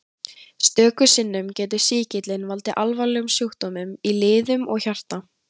Stöku sinnum getur sýkillinn valdið alvarlegum sjúkdómum í liðum og hjarta.